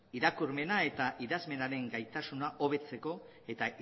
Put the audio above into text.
irakurmena eta idazmenaren gaitasun hobetzeko eta